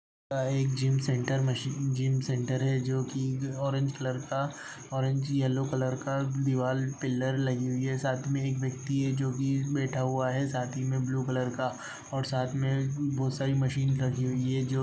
एक gym centre machine gym centre है जो कि ऑरेंज कलर का ऑरेंज येलो कलर का दीवाल पिलर लगी हुई है साथ में एक व्यक्ति है जो कि बैठा हुआ है साथ ही में ब्लू कलर का और साथ में बहोत सारी मशीन लगी हुई है । जो --